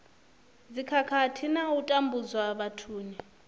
dzikhakhathi na u tambudzwa vhathuni